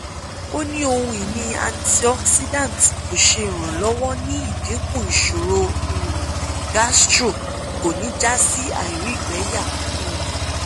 o ni ohun-ini antioxidant ko ṣe iranlọwọ ni idinku iṣoro um gastro ko ni ja si àìrígbẹyà um